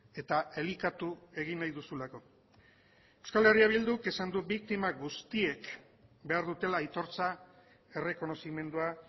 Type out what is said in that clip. eta elikatu egin nahi duzulako euskal herria bilduk esan du biktima guztiek behar dutela aitortza errekonozimendua